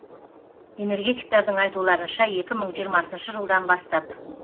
энергетиктердің айтуларынша екі мың жиырмасыншы жылдан бастап